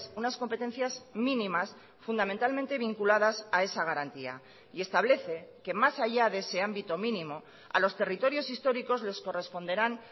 unas competencias mínimas fundamentalmente vinculadas a esa garantía y establece que más allá de ese ámbito mínimo a los territorios históricos les corresponderán